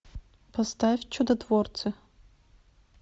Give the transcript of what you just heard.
поставь чудотворцы